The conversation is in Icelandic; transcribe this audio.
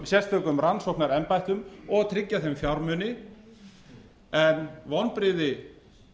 sérstökum rannsóknarembættum og að tryggja þeim fjármuni en vonbrigði